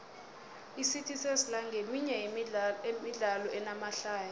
icity sesla nqeminye yemidlalo enamahlaya